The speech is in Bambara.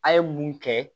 A ye mun kɛ